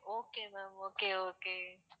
okay ma'am okay okay